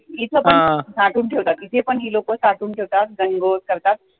इथेपण साठवून ठेवतात, इथे पण ही लोकं साठवुन ठेवतात गण गौर करतात